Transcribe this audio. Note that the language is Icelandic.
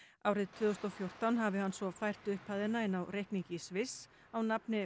árið tvö þúsund og fjórtán hafi hann svo fært upphæðina inn á reikning í Sviss á nafni